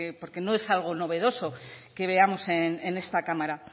porque no es algo novedoso que veamos en esta cámara